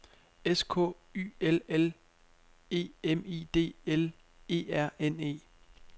S K Y L L E M I D L E R N E